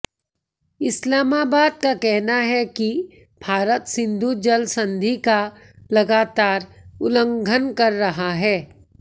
इस्लामाबद का कहना है कि भारत सिंधु जल संधि का लगातार उल्लंघन कर रहा है